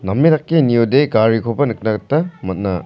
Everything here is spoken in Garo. name dake niode garikoba nikna gita man·a.